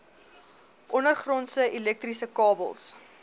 ondergrondse elektriese kabels